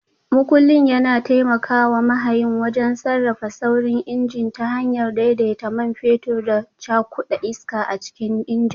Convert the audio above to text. Makullin yana taimaka wa mahayin wajen sarrafa saurin injin ta hanyar daidaita man fetur da cakuda iska a cikin injin.